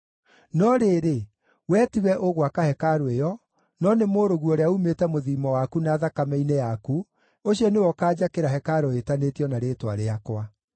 No rĩrĩ, wee tiwe ũgwaka hekarũ ĩyo, no nĩ mũrũguo ũrĩa uumĩte mũthiimo waku na thakame-inĩ yaku, ũcio nĩwe ũkaanjakĩra hekarũ ĩtanĩtio na Rĩĩtwa rĩakwa.’